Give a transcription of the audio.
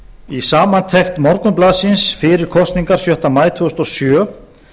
í samantekt morgunblaðsins fyrir kosningar sjötta maí tvö þúsund og sjö